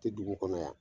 Tɛ dugu kɔnɔ yan